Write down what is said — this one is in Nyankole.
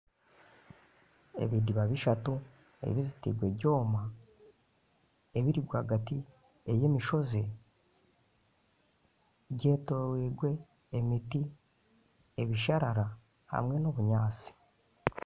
Ebidiba bishatu ebizitirwe ebyoma ebirirwagati y'emishozi byetoreirwe emiti, ebisharara hamwe n'ebinyantsi.